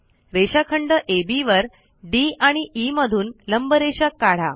रेषाखंड अब वर डी आणि ई मधून लंबरेषा काढा